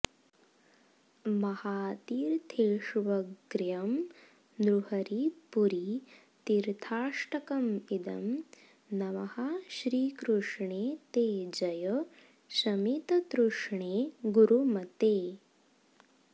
महातीर्थेष्वग्र्यं नृहरिपुरि तीर्थाष्टकमिदं नमः श्रीकृष्णे ते जय शमिततृष्णे गुरुमते